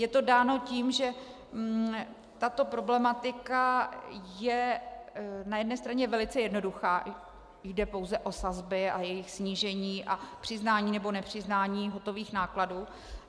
Je to dáno tím, že tato problematika je na jedné straně velice jednoduchá, jde pouze o sazby a jejich snížení a přiznání nebo nepřiznání hotových nákladů.